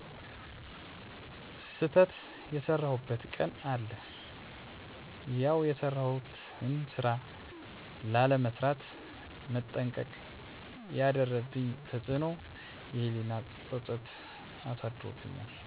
ስተት የሰራሁበት ቀን አለ ያውየሰራሁትን ስራ ላለመስራት መጠንቀቅ ያደረብኝ ተፅእኖ የህሊና ፀፀት አሳድሮብኛል።